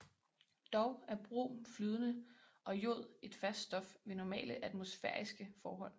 Dog er brom flydende og jod et fast stof ved normale atmosfæriske forhold